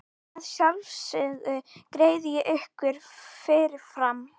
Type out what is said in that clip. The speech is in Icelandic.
Að sjálfsögðu greiði ég ykkur fyrir fram.